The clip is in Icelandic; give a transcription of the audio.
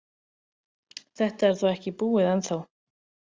Þetta er þó ekki búið ennþá.